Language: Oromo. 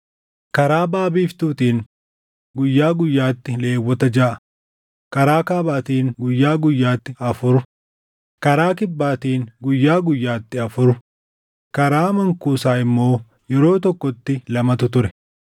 Karaa baʼa biiftuutiin guyyaa guyyaatti Lewwota jaʼa, karaa kaabaatiin guyyaa guyyaatti afur, karaa kibbaatiin guyyaa guyyaatti afur karaa mankuusaa immoo yeroo tokkotti lamatu ture.